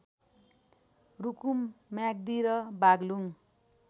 रूकुम म्याग्दि र बाग्लुङ